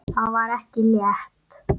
Það var ekki létt.